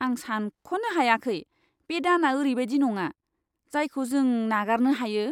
आं सानख'नो हायाखै! बै दाना ओरैबायदि नङा, जायखौ जों नागारनो हायो।